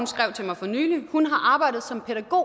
skrev til mig for nylig hun har arbejdet som pædagog